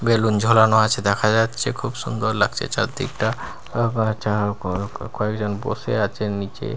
Balloon ঝোলানো আছে দেখা যাচ্ছে খুব সুন্দর লাগছে চারদিকটা আ ব চা গ কয়েকজন বসে আছেন নীচে।